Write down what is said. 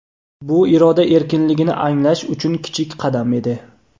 Bu iroda erkinligini anglash uchun kichik qadam edi.